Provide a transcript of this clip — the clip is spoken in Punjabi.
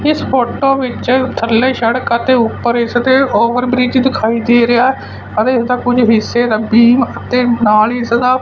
ਇਸ ਫੋਟੋ ਵਿੱਚ ਥੱਲੇ ਸ਼ੜਕ ਆ ਤੇ ਉੱਪਰ ਇਸ ਤੇ ਓਵਰ ਬ੍ਰਿਜ ਦਿਖਾਈ ਦੇ ਰਿਹਾ ਪਰ ਇਸ ਦਾ ਕੁਝ ਹਿੱਸੇ ਦਾ ਬੀਮ ਤੇ ਨਾਲ ਹੀ ਸਦਾ--